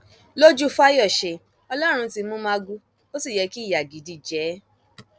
lójú fáyọṣe ọlọrun ti mú magu ó sì yẹ kí ìyà gidi jẹ ẹ